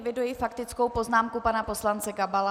Eviduji faktickou poznámku pana poslance Gabala.